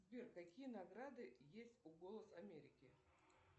сбер какие награды есть у голос америки